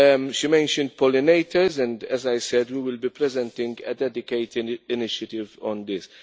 She mentioned pollinators and, as I said, we will be presenting a dedicated initiative on this.